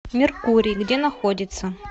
меркурий где находится